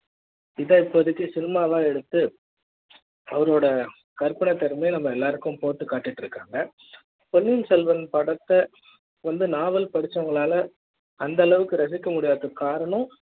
இதுதா இப்போதைக்கு சினிமால எல்லாம் எடுத்து அவரோட கற்பனை திறமை நம்ம எல்லாருக்கும் போட்டு காட்டிட்டு இருக்காங்க. பொன்னியின் செல்வன் படத்த வந்து நாவல் படிச்சவங்கனால அந்த அளவுக்கு ரசிக்க முடியாத காரணம்